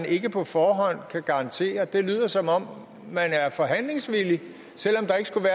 ikke på forhånd kan garantere det det lyder som om man er forhandlingsvillig selv om der ikke skulle